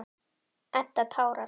Edda tárast.